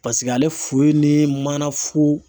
Paseke ale fu ni mana fu